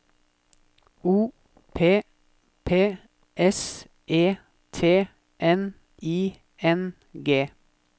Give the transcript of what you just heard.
O P P S E T N I N G